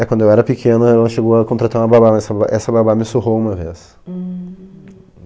É, quando eu era pequeno, ela chegou a contratar uma babá, mas essa ba essa babá me surrou uma vez.